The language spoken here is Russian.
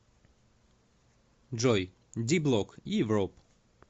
джой ди блок ивроп